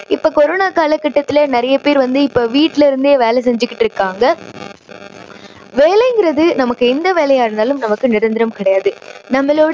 இப்போ கொரோனா காலக்கட்டத்துல நிறைய பேர் வந்து இப்போ வீட்டுல இருந்தே வேலை செஞ்சுகிட்டு இருக்காங்க. வேலைங்குறது நமக்கு எந்த வேலையா இருந்தாலும் நமக்கு நிரந்தரம் கிடையாது. நம்மளோட